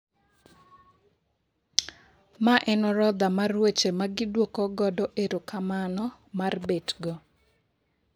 Mae en orodha mar weche magiduoko godo erokamano mar bet go.